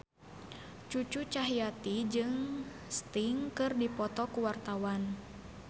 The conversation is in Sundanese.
Cucu Cahyati jeung Sting keur dipoto ku wartawan